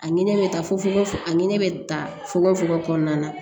A ɲinɛ bɛ taa fo fogofo a ɲini bɛ ta fogo fogo kɔnɔna na